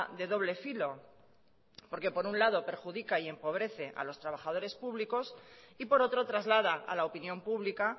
de doble filo porque por un lado perjudica y empobrece a los trabajadores públicos y por otro traslada a la opinión pública